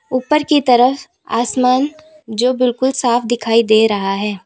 ऊपर की तरफ आसमान जो बिल्कुल साफ दिखाई दे रहा है।